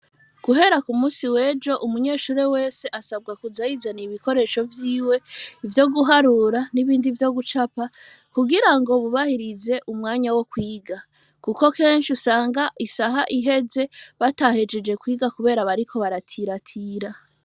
Guhera ku musi wejo umunyeshure wese asabwa kuzayizaniye ibikoresho vyiwe ivyo guharura n'ibindi vyo gucapa kugira ngo bubahirize umwanya wo kwiga, kuko kenshi usanga isaha iheze batahejeje kwiga, kubera bariko baratiratira.